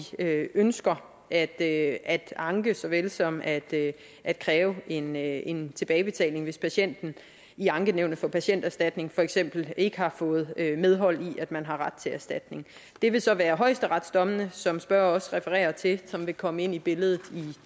ønsker at at anke så vel som at at kræve en en tilbagebetaling hvis patienten i ankenævnet for patienterstatning for eksempel ikke har fået medhold i at man har ret til erstatning det vil så være højesteretsdommene som spørger også refererer til som vil komme ind i billedet i